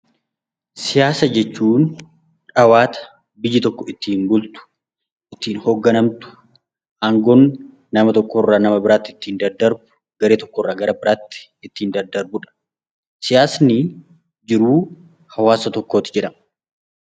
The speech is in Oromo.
Siyaasa jechuun dhawata biyyi tokko ittiin bultu, ittiin hogganamtu, aangoon nama tokko irraa gara biraatti ittiin daddarbu, garee tokko irraa gara biraatti ittiin daddarbudha. Siyaasni jiruu hawwaasa tokkooti jedhama.